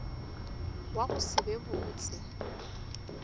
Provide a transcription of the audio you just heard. wa go se be botse